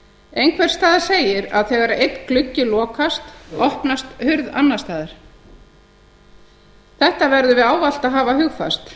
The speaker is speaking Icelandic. einhvers staðar segir að þegar einn gluggi lokast opnast hurð annars staðar þetta verðum við ávallt að hafa hugfast